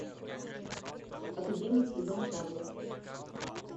академик иван павлов